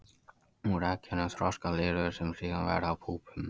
Úr eggjunum þroskast lirfur sem síðan verða að púpum.